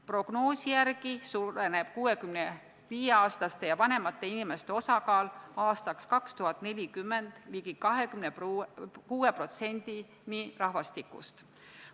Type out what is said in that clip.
Prognoosi järgi suureneb 65-aastaste ja vanemate inimeste osakaal aastaks 2040 ligi 26%-ni rahvastikust.